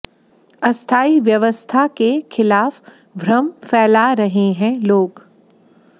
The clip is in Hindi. अस्थायी व्यवस्था के खिलाफ भ्रम फैला रहे हैं लोग